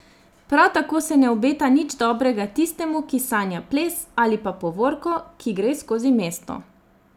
Prav tako se ne obeta nič dobrega tistemu, ki sanja ples ali pa povorko, ki gre skozi mesto.